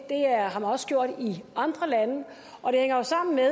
har man også gjort i andre lande og det hænger jo sammen med at